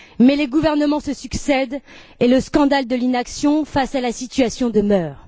Mais les gouvernements se succèdent et le scandale de l'inaction face à la situation demeure.